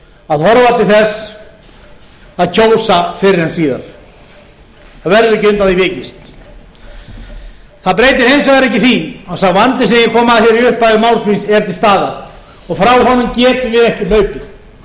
að horfa til þess að kjósa fyrr en síðar það verður ekki undan því vikist það breytir hins vegar ekki því að sá vandi sem ég kom að í upphafi máls míns er til staðar og frá honum getum við ekki hlaupið